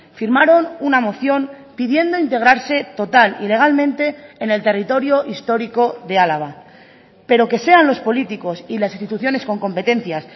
firmaron una moción pidiendo integrarse total y legalmente en el territorio histórico de álava pero que sean los políticos y las instituciones con competencias